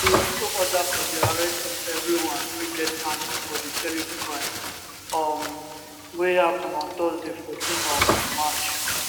e also order for di arrest of everyone wey get hand for di terrible crime um wey happun on thursday 14 um march